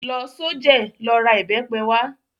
Lọ s'ojẹ́, lọ ra ìbẹ́pe wá!